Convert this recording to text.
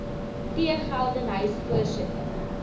t geldenhuys voorsitter